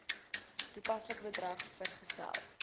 toepaslike bedrag vergesel